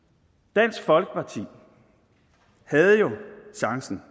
dansk folkeparti havde jo chancen